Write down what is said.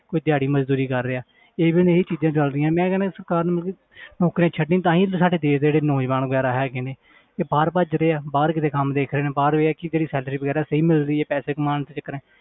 ਕੋਈ ਦਿਹਾੜੀ ਮਜ਼ਦੂਰੀ ਕਰ ਰਿਹਾ even ਇਹ ਚੀਜ਼ਾਂ ਚੱਲ ਰਹੀਆਂ, ਮੈਂ ਕਹਿਨਾ ਸਰਕਾਰ ਨੂੰ ਮਤਲਬ ਕਿ ਨੌਕਰੀਆਂ ਤਾਂ ਹੀ ਤੇ ਸਾਡੇ ਦੇਸ ਦੇ ਜਿਹੜੇ ਨੌਜਵਾਨ ਵਗ਼ੈਰਾ ਹੈਗੇ ਨੇ ਇਹ ਬਾਹਰ ਭੱਜਦੇ ਹੈ ਬਾਹਰ ਕਿਤੇ ਕੰਮ ਦੇਖਦੇ ਨੇ ਬਾਹਰ ਵੀ ਇਹ ਹੈ ਕਿ ਜਿਹੜੀ salary ਵਗ਼ੈਰਾ ਸਹੀ ਮਿਲ ਰਹੀ ਹੈ ਪੈਸੇ ਕਮਾਉਣ ਦੇ ਚੱਕਰਾਂ